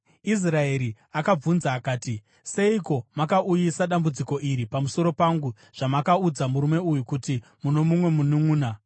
Israeri akabvunza akati, “Seiko makauyisa dambudziko iri pamusoro pangu zvamakaudza murume uyu kuti muno mumwe mununʼuna?”